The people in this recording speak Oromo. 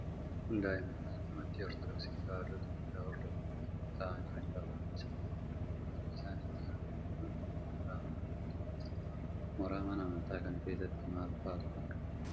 Kun daa'imman amantii Ortodoksii Tewaayidoo Itoophiyaa hordofan yoo ta'u, taa'aanii macaafa dubbisaa jiru. Bakki isaan itti argaman kun ammoo mooraa mana amantaa keessadha. Mooraa mana amantaa kana keessatti maal fa'aatu argama?